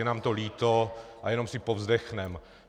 Je nám to líto, a jenom si povzdechneme.